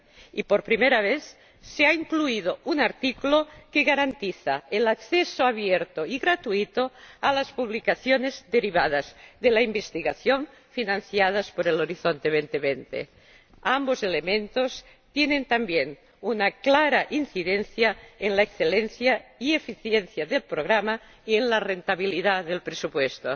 Y, por primera vez, se ha incluido un artículo que garantiza el acceso abierto y gratuito a las publicaciones derivadas de la investigación financiadas por Horizonte 2020. Ambos elementos tienen también una clara incidencia en la excelencia y eficiencia del programa y en la rentabilidad de su presupuesto.